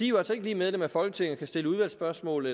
jo altså ikke lige medlem af folketinget og kan stille udvalgsspørgsmål